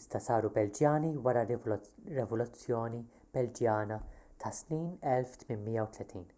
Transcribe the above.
iżda saru belġjani wara r-rivoluzzjoni belġjana tas-snin 1830